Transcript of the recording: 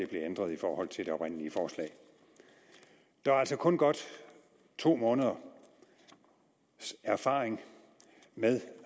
ændret i forhold til det oprindelige forslag der er altså kun godt to måneders erfaring med